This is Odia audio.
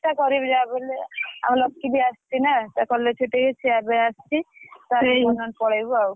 ଚେଷ୍ଟା କରିବି ଯାହାବି ହେଲେ ଆମ ଲକି ବି ଆସିଛି ନା ତା college ଛୁଟି ହେଇଯାଇଛି ସିଏ ଏବେ ଆସିଛି ତାର ମୋର ନହେଲେ ପଳେଇବୁ ଆଉ।